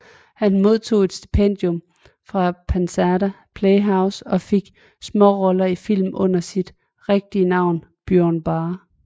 Han modtog et stipendium til Pasadena Playhouse og fik småroller i film under sit rigtige navn Byron Barr